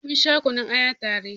Mun sha kunun aya ta re